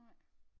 Nej